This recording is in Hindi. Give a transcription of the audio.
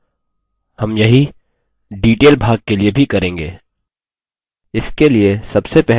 हम यही detail भाग के लिए भी करेंगे